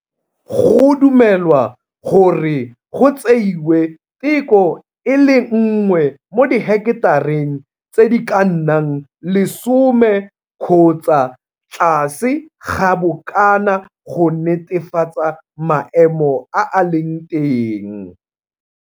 Go dumelwa gore go tseiwe teko e le nngwe mo diheketareng tse di ka nnang lesome kgotsa tlase ga bokana go netefatsa maemo a a leng teng.